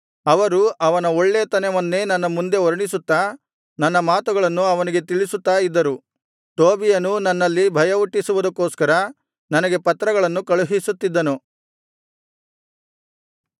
ಅವರು ಅವನ ಒಳ್ಳೆತನವನ್ನೇ ನನ್ನ ಮುಂದೆ ವರ್ಣಿಸುತ್ತಾ ನನ್ನ ಮಾತುಗಳನ್ನು ಅವನಿಗೆ ತಿಳಿಸುತ್ತಾ ಇದ್ದರು ಟೋಬೀಯನೂ ನನ್ನಲ್ಲಿ ಭಯಹುಟ್ಟಿಸುವುದಕ್ಕೋಸ್ಕರ ನನಗೆ ಪತ್ರಗಳನ್ನು ಕಳುಹಿಸುತ್ತಿದ್ದನು